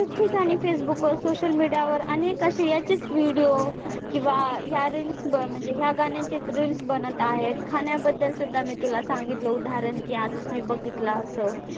किती गाणी facebook वर, social media वर आणि video किंवा ह्या reels म्हणजे ह्या गाण्यांचीच reels बनत आहेत. खाण्याबद्दल सुद्धा मी तुला सांगितलं उदाहरण की आजच मी बघितलं असं,